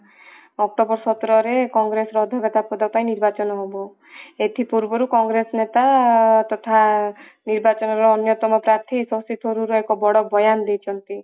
october ସତରରେ କଂଗ୍ରେସ ର ଅଦକ୍ଷତା ପଦ ପାଇଁ ନିର୍ବାଚନ ହବ ଏଥି ପୂର୍ବରୁ କଂଗ୍ରେସ ନେତା ତଥା ନିର୍ବାଚନ ର ଅନ୍ୟତମ ପାର୍ଥୀ ଶକ୍ତିସ୍ୱରୂପ ବଡ ବୟାନ ଦେଇଛନ୍ତି